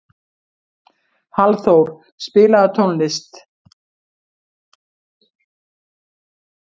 Hallþór, spilaðu tónlist.